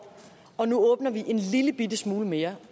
og nu åbner vi en lillebitte smule mere